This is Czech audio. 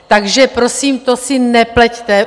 Takže prosím, to si nepleťte.